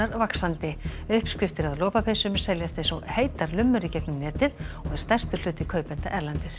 vaxandi uppskriftir að lopapeysum seljast eins og heitar lummur í gegnum netið og er stærstur hluti kaupenda erlendis